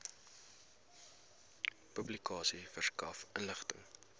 publikasie verskaf inligting